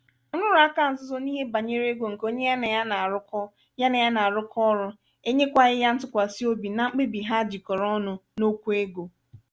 nrụrụaka nzuzo n'ihe banyere ego nke onye ya nà ya na-arụkọ ya na-arụkọ ọrụ enyekwaghị ya ntụkwasị obi na mkpebi ha jikọrọ ọnụ n'okwụ ego.